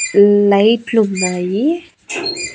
లైట్లున్నాయి .